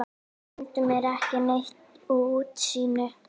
Stundum er ekki neitt útsýni!